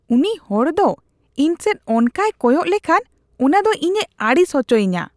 ᱩᱱᱤ ᱦᱚᱲ ᱫᱚ ᱤᱧ ᱥᱮᱡ ᱚᱝᱠᱟᱭ ᱠᱚᱭᱚᱜ ᱞᱮᱠᱷᱟᱱ ᱚᱱᱟ ᱫᱚ ᱤᱧᱮ ᱟᱹᱲᱤᱥ ᱚᱪᱚᱭᱤᱧᱟ ᱾